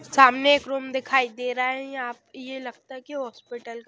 सामने एक रूम दिखाई दे रहा है येआप ये लगता है कि हॉस्पिटल का --